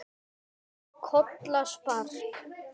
Kolla sprakk.